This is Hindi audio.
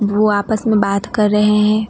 वो आपस में बात कर रहे हैं।